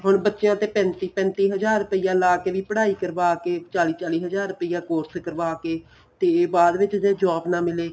ਹੁਣ ਬੱਚਿਆਂ ਤੇ ਪੈਂਤੀ ਪੈਂਤੀ ਹਜ਼ਾਰ ਪਿਆ ਲਾ ਕੇ ਵੀ ਪੜ੍ਹਾਈ ਕਰਵਾ ਕੇ ਚਾਲੀ ਚਾਲੀ ਹਜ਼ਾਰ ਰੁਪਇਆ course ਕਰਵਾ ਕੇ ਤੇ ਬਾਅਦ ਵਿੱਚ ਜੇ job ਨਾ ਮਿਲੇ